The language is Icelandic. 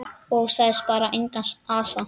Og sagði bara: Engan asa.